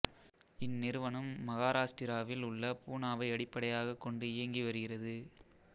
இந்நிறுவனம் மஹாராஸ்டிராவில் உள்ள பூனாவை அடிப்படையாகக் கொண்டு இயங்கி வருகிறது